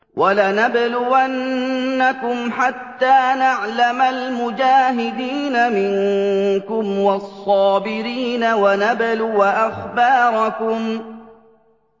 وَلَنَبْلُوَنَّكُمْ حَتَّىٰ نَعْلَمَ الْمُجَاهِدِينَ مِنكُمْ وَالصَّابِرِينَ وَنَبْلُوَ أَخْبَارَكُمْ